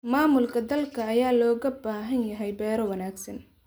Maamulka dhulka ayaa looga baahan yahay beero wanaagsan.